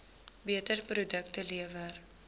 beter produkte lewer